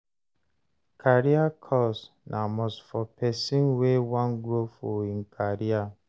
Career course na must for pesin wey wan grow for im career.